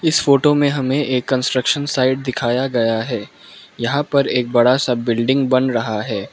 इस फोटो में हमें एक कंस्ट्रक्शन साइट दिखाया गया है यहां पर एक बड़ा सा बिल्डिंग बन रहा है।